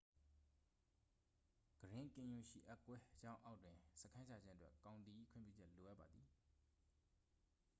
ဂရင်းကင်ယွန်ရှိအက်ကွဲကြောင်းအောက်တွင် စခန်းချခြင်းအတွက် ကောင်တီ၏ခွင့်ပြုချက်လိုအပ်ပါသည်